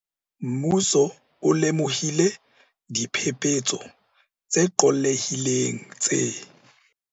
Mmuso o lemohile diphe-phetso tse qollehileng tse.